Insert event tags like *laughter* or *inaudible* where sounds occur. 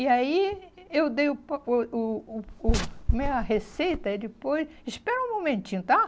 E aí eu dei *unintelligible* o o o, como é, a receita, ele pôs, espera um momentinho, tá?